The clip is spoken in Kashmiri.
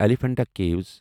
ایلیفنٹا کیوِس